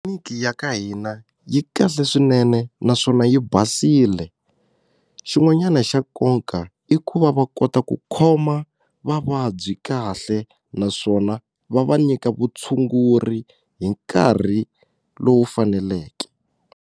ya ka hina yi kahle swinene naswona yi basile xin'wanyana xa nkoka i ku va va kota ku khoma vavabyi kahle naswona va va nyika vutshunguri hi nkarhi lowu faneleke.